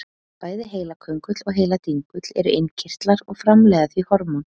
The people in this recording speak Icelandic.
Bæði heilaköngull og heiladingull eru innkirtlar og framleiða því hormón.